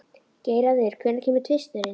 Geirarður, hvenær kemur tvisturinn?